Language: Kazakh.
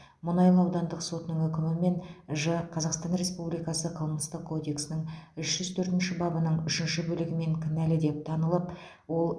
мұнайлы аудандық сотының үкімімен ж қазақстан республикасы қылмыстық кодексінің үш жүз төртінші бабының үшінші бөлігімен кінәлі деп танылып ол